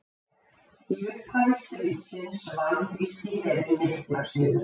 Í upphafi stríðsins vann þýski herinn mikla sigra.